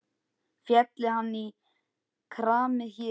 Félli hann í kramið hér?